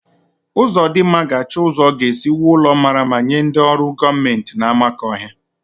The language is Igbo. Uzodimma ga-achọ ụzọ ọ ga-esi wuo ụlọ mmara mma nye ndị ọrụ gọọmenti n'Amakọhia.